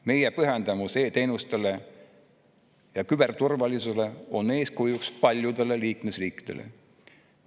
Meie pühendumus e‑teenustele ja küberturvalisusele on eeskujuks paljudele liikmesriikidele.